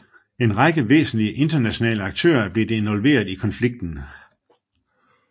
En række væsentlige internationale aktører er blevet involveret i konflikten